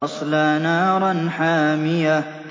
تَصْلَىٰ نَارًا حَامِيَةً